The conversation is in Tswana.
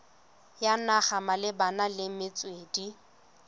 ya naga malebana le metswedi